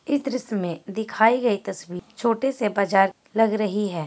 ई दृश्य में दिखाई गयी तस्वीर छोटे से बाजार लग रही है।